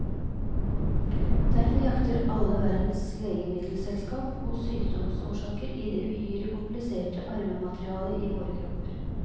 Derfor jakter alle verdens legemiddelselskap på sykdomsårsaker i det uhyre kompliserte arvematerialet i våre kropper.